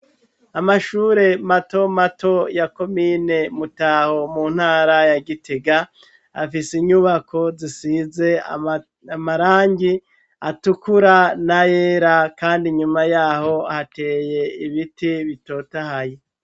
amashure mato mato ya komine mutaho mu ntara ya gitega afise inyubako zisize amarangi atukura na yera kandi nyuma yaho hateye ibiti bitotahaye